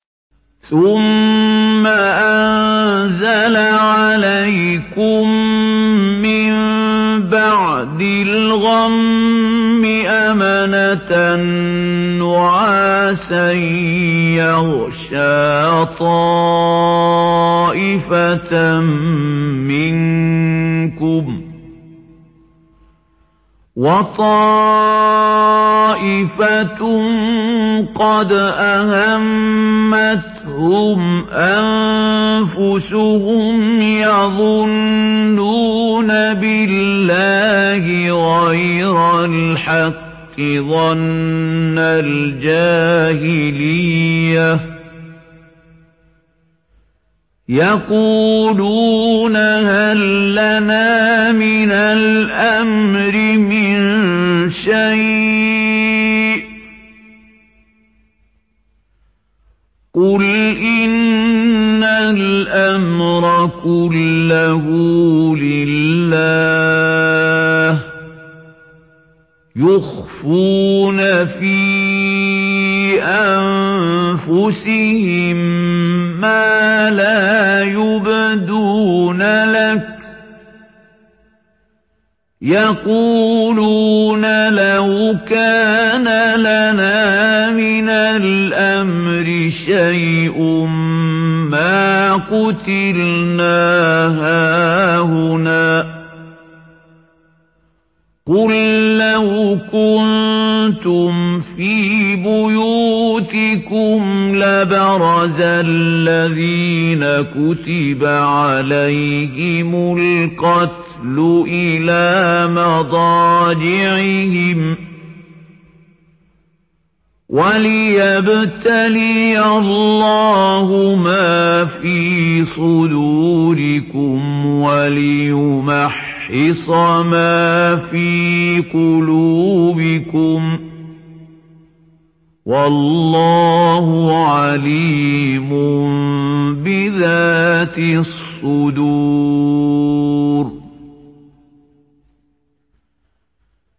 ثُمَّ أَنزَلَ عَلَيْكُم مِّن بَعْدِ الْغَمِّ أَمَنَةً نُّعَاسًا يَغْشَىٰ طَائِفَةً مِّنكُمْ ۖ وَطَائِفَةٌ قَدْ أَهَمَّتْهُمْ أَنفُسُهُمْ يَظُنُّونَ بِاللَّهِ غَيْرَ الْحَقِّ ظَنَّ الْجَاهِلِيَّةِ ۖ يَقُولُونَ هَل لَّنَا مِنَ الْأَمْرِ مِن شَيْءٍ ۗ قُلْ إِنَّ الْأَمْرَ كُلَّهُ لِلَّهِ ۗ يُخْفُونَ فِي أَنفُسِهِم مَّا لَا يُبْدُونَ لَكَ ۖ يَقُولُونَ لَوْ كَانَ لَنَا مِنَ الْأَمْرِ شَيْءٌ مَّا قُتِلْنَا هَاهُنَا ۗ قُل لَّوْ كُنتُمْ فِي بُيُوتِكُمْ لَبَرَزَ الَّذِينَ كُتِبَ عَلَيْهِمُ الْقَتْلُ إِلَىٰ مَضَاجِعِهِمْ ۖ وَلِيَبْتَلِيَ اللَّهُ مَا فِي صُدُورِكُمْ وَلِيُمَحِّصَ مَا فِي قُلُوبِكُمْ ۗ وَاللَّهُ عَلِيمٌ بِذَاتِ الصُّدُورِ